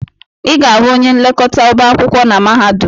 Ị ga-ahụ onye nlekọta ọba akwụkwọ na mahadum.